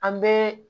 An bɛɛ